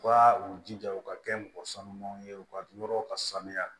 U ka u jija u ka kɛ mɔgɔ sanumanw ye u ka yɔrɔ ka sanuya